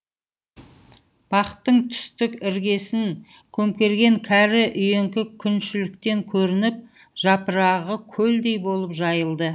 бақтың түстік іргесін көмкерген кәрі үйеңкі күншіліктен көрініп жапырағы көлдей болып жайылды